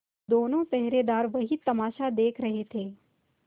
दोनों पहरेदार वही तमाशा देख रहे थे